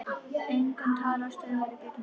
Engin talstöð var í bílnum.